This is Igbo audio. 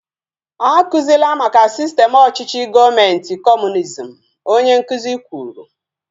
A kuzila maka sistem ọchịchị gọọmenti kọmunizm! Onye nkụzi kwuru